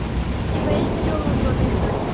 у тебя есть пятерка кладоискателей